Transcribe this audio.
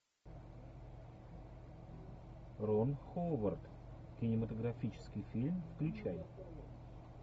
рон ховард кинематографический фильм включай